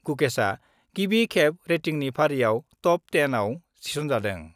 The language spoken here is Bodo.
गुकेशआ गिबि खेब रेटिंनि फारिआव टप-10 आव थिसनजादों।